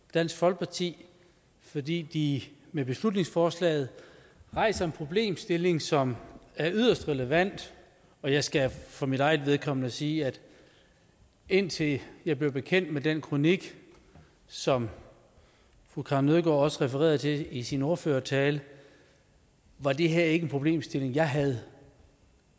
dansk folkeparti fordi de med beslutningsforslaget rejser en problemstilling som er yderst relevant og jeg skal for mit eget vedkommende sige at indtil jeg blev bekendt med den kronik som fru karin nødgaard også refererede til i sin ordførertale var det her ikke en problemstilling jeg havde